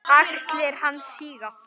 Axlir hans síga.